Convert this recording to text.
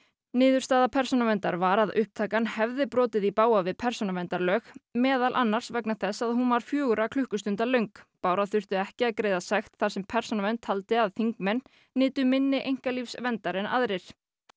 niðurstaða Persónuverndar var að upptakan hefði brotið í bága við persónuverndarlög meðal annars vegna þess að hún var fjögurra klukkustunda löng bára þurfti ekki að greiða sekt þar sem Persónuvernd taldi að þingmenn nytu minni einkalífsverndar en aðrir